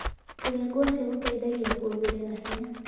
Kũrĩa ngwacĩ gũteĩthagĩa kũongerera hinya